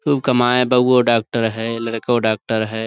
کمائیں، بہوئیں ڈاکٹر ہیں، لڑی ڈاکٹر ہیں۔.